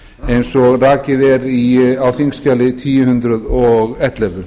eins og rakið er í þingskjali þúsund og ellefu